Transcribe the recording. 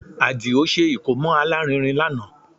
Àdìó ṣe ìkómọ alárinrin lánàá